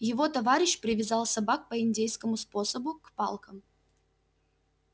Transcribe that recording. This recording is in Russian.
его товарищ привязал собак по индейскому способу к палкам